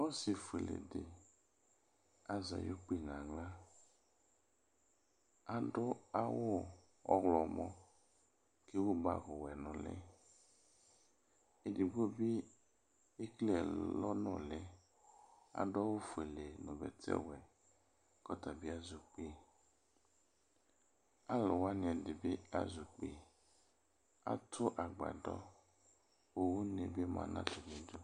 Ɔsifuele di azɛ ayʋ kpi n'aɣla, adʋ awʋ ɔɣlɔmɔ k'ewu bagi wɛ n'ʋli, edigbo bi ekele ɛlɔ n'ʋli, adʋ awʋ fuele nʋ bɛtɛ wɛ k'ɔta bi azɛ ukpi Alʋwani ɛdi bi az'ukɔi, atʋ agbadɔ kʋ une bi dʋ atamidu